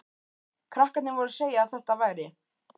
Krakkarnir voru að segja að þetta væri